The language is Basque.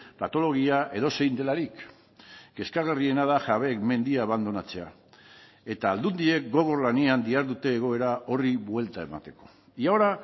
patologia edozein delarik kezkagarriena da jabeek mendia abandonatzea eta aldundiek gogor lanean dihardute egoera horri buelta emateko y ahora